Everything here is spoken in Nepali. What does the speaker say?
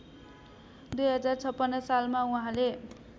२०५६ सालमा उहाँले